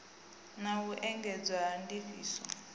na u engedzwa ha ndifhiso